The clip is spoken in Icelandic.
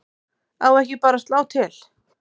Á ekki bara að slá til?